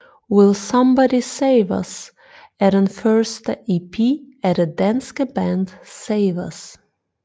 Will Somebody Save Us er den første EP af det danske band SAVEUS